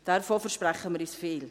Davon versprechen wir uns viel.